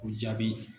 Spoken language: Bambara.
O jaabi